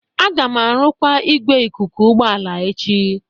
Aga m arụkwa igwe ikuku ụgbọ ala echi